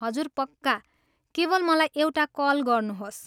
हजुर, पक्का! केवल मलाई एउटा कल गर्नुहोस्।